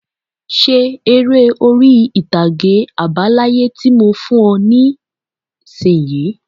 Ṣe eré orí-ìtàgé àbá láyé tí mo fún ọ nisinyi!